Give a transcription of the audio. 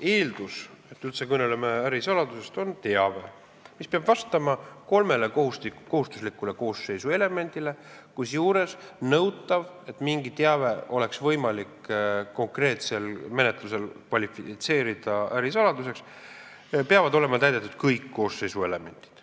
eeldus, et kui me üldse kõneleme ärisaladusest, siis see on teave, kus on kolm kohustuslikku koosseisu elementi, kusjuures on nõutav, et selleks, et mingit teavet oleks võimalik konkreetses menetluses kvalifitseerida ärisaladuseks, peavad olema olemas kõik koosseisu elemendid.